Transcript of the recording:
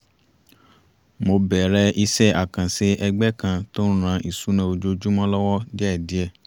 mo bẹ̀rẹ̀ iṣẹ́ àkànṣe ẹ̀gbẹ́ kan tó ń ran ìsúná ojoojúmọ́ lọ́wọ́ díẹ̀díẹ̀